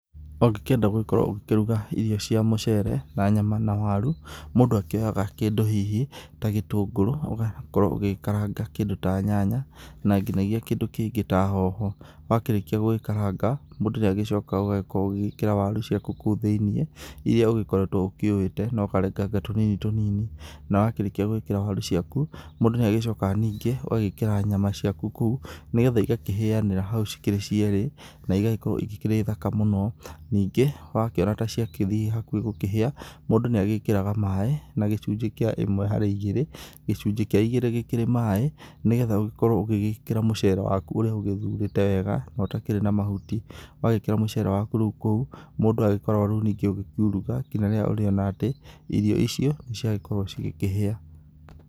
Ũngĩkĩenda gũgĩkorwo ũgĩkĩruga irio cia mũcere na nyama na waru, mũndũ akĩoyaga kĩndũ hihi ta gĩtũngũrũ ũgakorwo ũgĩkaranga kĩndũ ta nyanya na nginyagia kĩndũ kĩngĩ ta hoho, wakĩrĩkia gũgĩkaranga mũndũ nĩagĩcokaga ũgakorwo ũgĩkĩra waru ciaku thĩinĩ iria ũgĩkoretwe ũkĩũĩte na ũkarenganga tũnini tũnini, na wakĩrĩkia gũĩkĩra waru ciaku mũndũ nĩagĩcokaga ningĩ ũgagĩkĩra nyama ciaku nĩgetha igakĩanĩra hau cikĩrĩ cierĩ na igagĩkorwo irĩ thaka mũno, ningĩ wakorwo ta cithi gũkĩhĩa mũndũ nĩagĩkĩraga maĩ na úgĩcunjĩ kĩa ĩmwe harĩ igĩrĩ, gĩcunjĩ kĩa igĩrĩ maĩ nĩgetha ũgagĩkorwo ũgĩkĩra mũcere waku ũrũa ũgĩthurĩte wega na ũtarĩ na mahuti ,wagĩkĩra mũcere waku kũu mũndũ agĩkoragwo rĩũ ningĩ ũgĩkiuruga ngnya rĩrĩa ũrĩona atĩ irio icio nĩciakorwo cigĩkĩhĩa.